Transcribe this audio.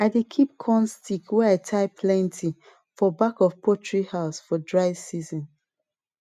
i dey keep corn stike wey i tie plenty for back of poultry house for dry season